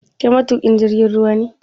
Kai matuƙin jirgin ruwa ne?